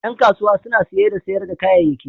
Ƴan kasuwa suna saye da sayar da kayayyaki.